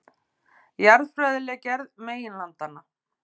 Jarðfræðileg gerð meginlandanna.